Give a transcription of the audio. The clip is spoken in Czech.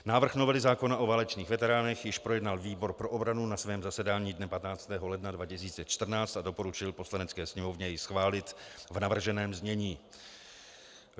Návrh novely zákona o válečných veteránech již projednal výbor pro obranu na svém zasedání dne 15. ledna 2014 a doporučil Poslanecké sněmovně jej schválit v navrženém znění.